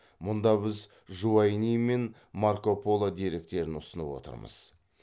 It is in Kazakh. мұнда біз жуайни мен марко поло деректерін ұсынып отырмыз